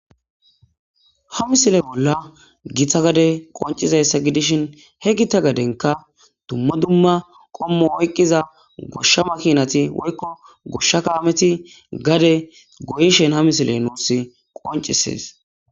Ha misile boll gita gade qoncudaysa gidishin ha gita gadenka duma duma komo oyqiza gosha makinati woykko gosha kameti gade goyishin ha misile nus qonces.